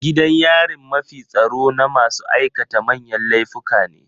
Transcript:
Gidan yarin mafi tsaro na masu aikata manyan laifuka ne.